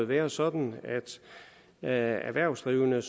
være sådan at erhvervsdrivende